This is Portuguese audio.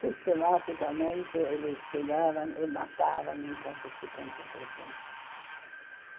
Sistematicamente, eles pegaram e mataram em campos de concentração.